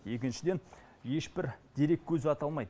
екіншіден ешбір дереккөзі аталмайды